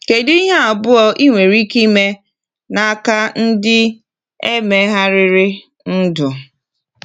Kedu ihe abụọ nwere ike ime n’aka ndị e megharịrị ndụ?